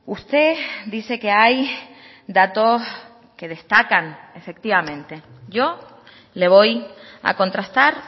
usted dice que hay datos que destacan efectivamente yo le voy a contrastar